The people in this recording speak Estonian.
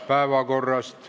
Päevakorrast.